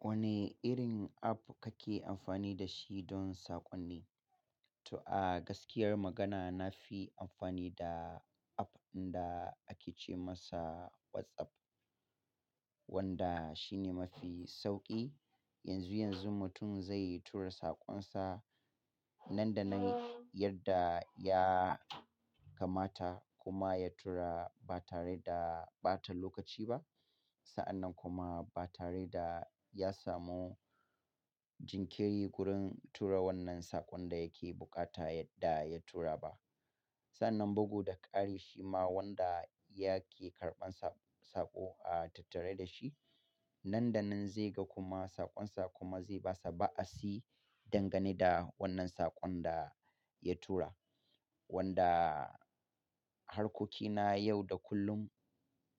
Wane irin app kake amfani da shi don sakonni? To a gaskiyar magana, na fi amfani da app da ake ce masa WhatsApp, wanda shine mafi sauƙi. Yanzu yanzu mutum zai tura sakonsa nan da nan yadda ya kamata kuma ya tura ba tare da ɓata lokaci ba. Sa'annan kuma ba tare da ya samu jinkiri wurin tura wannan sakon da yake bukata yadda ya tura ba. Sannan bugu da ƙari shi ma wanda yake karɓan saƙo a tattare da shi, nan da nan zai ga kuma sakonsa kuma zai basa ba'a si dangane da wannan sakon da ya tura. Wanda harkokina yau da kullum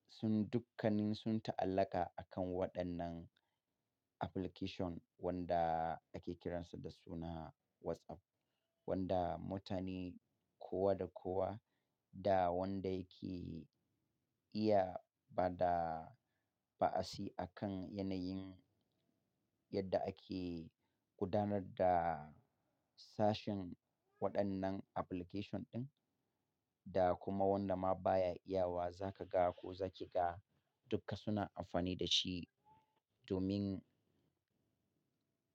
sun dukkannin sun ta'allaka akan waɗannan application wanda ake kiransa da suna WhatsApp. Wanda mutane kowa da kowa da wanda yake iya ba da ba'a si akan yanayin yadda ake gudanar da sashin waɗannan application ɗin da kuma wanda ma baya iya wa za ka ga ko za ki ga duka suna amfani da shi domin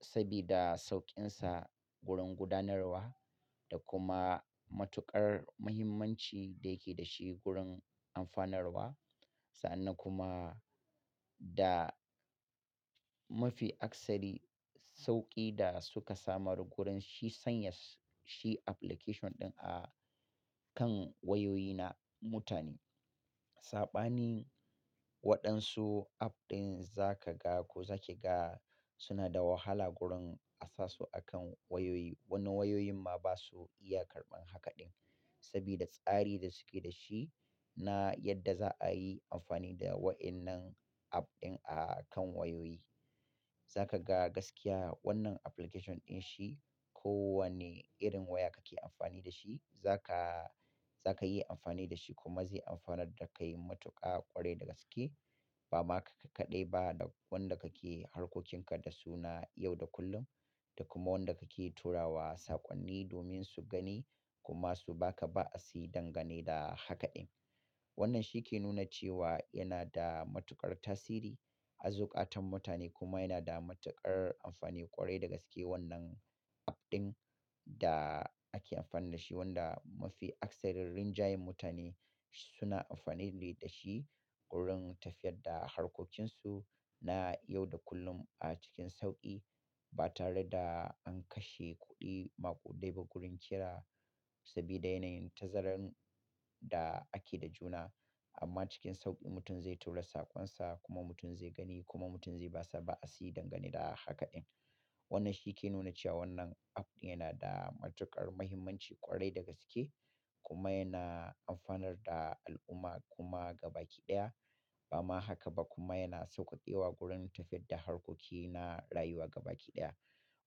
sabida sauƙinsa gurin gudanarwa da kuma matuƙar muhimmanci da yake da shi gurin amfanarwa. Sa'annan kuma da mafi akasari sauƙi da suka samar gurin shi sanya shi application ɗin a kan wayoyi na mutane. Saɓanin waɗansu app ɗin za ka ga ko za ki ga suna da wahala gurin asasu akan wayoyi. Wani wayoyin ma basu iya karɓan haka ɗin sabida tsari da suke da shi na yadda za'a yi amfani da waɗannan app ɗin a kan wayoyi. Za ka ga gaskiya wannan application ɗin shi ko wane irin waya kake amfani da shi, za ka, za ka yi amfani da shi kuma zai amfanar da kai matuƙa ƙwarai da gaske. Ba ma kai kaɗai ba da wanda kake harkokinka da su na yau da kullum da kuma wanda kake turawa sakonni domin su gani kuma su baka ba'a si dangane da haka ɗin. Wannan shi ke nuna cewa yana da matuƙar tasiri a zuƙatan mutane kuma yana da matuƙar amfani ƙwarai da gaske wannan app ɗin da ake amfani da shi wanda mafi akasarin rinjayen mutane suna amfanine da shi gurin tafiyar da harkokinsu na yau da kullum a cikin sauƙi ba tare da an kashe kuɗi maƙudaiba gurin kira sabida yanayin tazarun da ake da juna. Amma cikin sauƙi mutum zai tura sakonsa kuma mutum zai gani kuma mutum zai basa ba'a si dangane da haka ɗin. Wannan shi ke nuna cewa wannan app ɗin yana da matuƙar muhimmanci ƙwarai da gaske kuma yana amfanar da al'umma kuma gaba ƙiɗaya. Ba ma haka ba kuma yana sauƙake wa gurin tafiyar da harkoki na rayuwa gaba ƙiɗaya.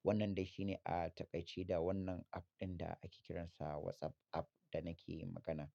Wannan dai shi ne a taƙaici da wannan app ɗin da ake kiransa WhatsApp app da nake yin magana.